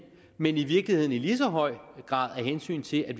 men i virkeligheden i lige så høj grad af hensyn til at